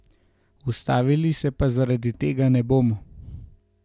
Ustavili se pa zaradi tega ne bomo.